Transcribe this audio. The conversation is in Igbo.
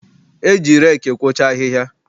E ji reeki ekwocha ahịhịa.